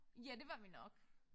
Ja det var vi nok